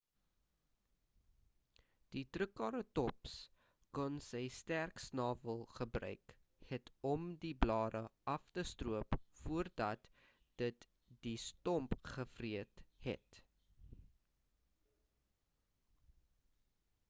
die trikeratops kon sy sterk snawel gebruik het om die blare af te stroop voordat dit die stomp gevreet het